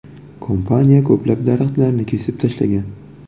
Kompaniya ko‘plab daraxtlarni kesib tashlagan.